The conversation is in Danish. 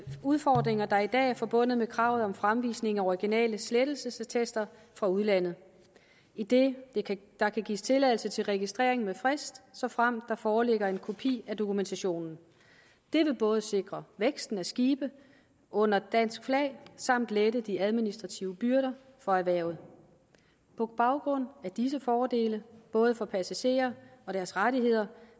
udfordringer der i dag er forbundet med kravet om fremvisning af originale slettelsesattester fra udlandet idet der kan gives tilladelse til registrering med frist såfremt der foreligger en kopi af dokumentationen det vil både sikre væksten af skibe under dansk flag samt lette de administrative byrder for erhvervet på baggrund af disse fordele både for passagerer og deres rettigheder